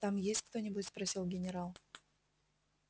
там есть кто-нибудь спросил генерал